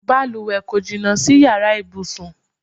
Balùwẹ̀ kò jìnnà sí yàrá ibùsùn.